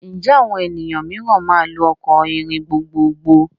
Ǹjẹ́ àwọn ènìyàn mìíràn máa lò ọkọ̀ ìrìn gbogbogbò?